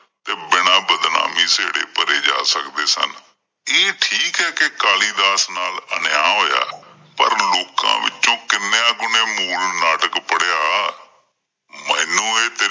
ਤੇ ਬਿਨਾਂ ਬਦਨਾਮੀ ਸਹੇੜੇ ਭਰੇ ਜਾ ਸਕਦੇ ਸਨ। ਇਹ ਠੀਕ ਏ ਕਿ ਕਾਲੀ ਦਾਸ ਨਾਲ ਅਨਿਆਂ ਹੋਇਆਂ ਪਰ ਲੋਕਾਂ ਵਿੱਚੋਂ ਕਿੰਨੀਆਂ ਕਿ ਨੇ ਮੂਲ ਨਾਟਕ ਪੜਿਆ ਮੈਂਨੂੰ ਇਹ